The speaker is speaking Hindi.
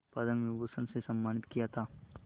पद्म विभूषण से सम्मानित किया था